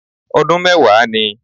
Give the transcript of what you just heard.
Ọdún mẹ́wàá ni